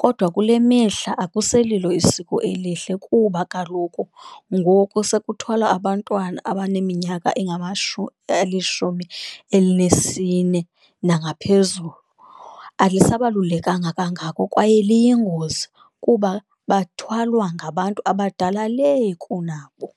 kodwa kule mihla akusililo isiko elihle, kuba kaloku ngoku sekuthwala abantwana abaneminyaka elishumi elinesine nangaphezulu, alisabalulekanga kangako kwaye liyingozi kuba bathwalwa ngabantu abadala lee kunabo.